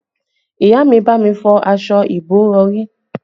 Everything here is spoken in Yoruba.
Ìyá mi bá mi fọ aṣọ ìbòrọ̀rí